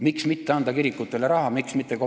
Miks mitte kirikutele raha anda?